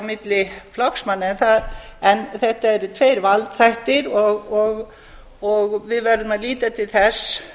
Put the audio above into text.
milli flokksmanna en þetta eru tveir valdþættir og við verðum að líta til þess